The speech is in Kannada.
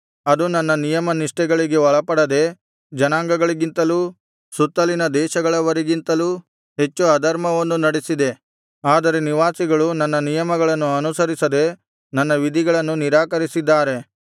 ಅದು ನನ್ನ ನಿಯಮನಿಷ್ಠೆಗಳಿಗೆ ಒಳಪಡದೆ ಜನಾಂಗಗಳಿಗಿಂತಲೂ ಸುತ್ತಲಿನ ದೇಶಗಳವರಿಗಿಂತಲೂ ಹೆಚ್ಚು ಅಧರ್ಮವನ್ನು ನಡೆಸಿದೆ ಅದರ ನಿವಾಸಿಗಳು ನನ್ನ ನಿಯಮಗಳನ್ನು ಅನುಸರಿಸದೆ ನನ್ನ ವಿಧಿಗಳನ್ನು ನಿರಾಕರಿಸಿದ್ದಾರೆ